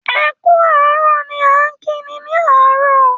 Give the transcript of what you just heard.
‘E̩ kú àárò̩’ ni a ń kí ni ní àárò̩